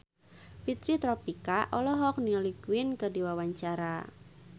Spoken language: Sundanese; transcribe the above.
Fitri Tropika olohok ningali Queen keur diwawancara